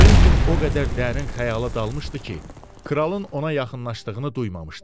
Kventin o qədər dərin xəyala dalmışdı ki, kralın ona yaxınlaşdığını duymamışdı.